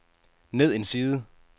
ned en side